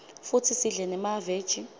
futsi sidle nemaveji